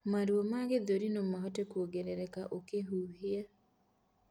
Maruo ma gĩthũri nomahote kũongerereka ũkihihia